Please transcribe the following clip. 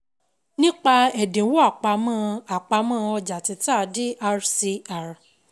Nípa Ẹ̀dínwó àpamọ́ Àpamọ́ ọjà títà Dr Cr